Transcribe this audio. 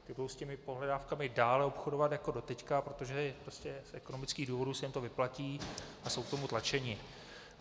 Ty budou s těmi pohledávkami dál obchodovat jako doteď, protože prostě z ekonomických důvodů se jim to vyplatí a jsou k tomu tlačeny.